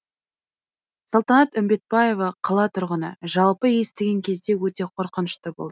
салтанат үмбетбаева қала тұрғыны жалпы естіген кезде өте қорқынышты болды